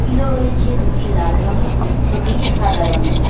Pillow রয়েছে দুটি লাল রঙের দুটি সাদা রঙের।